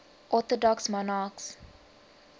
orthodox monarchs